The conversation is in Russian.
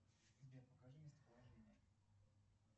сбер покажи местоположение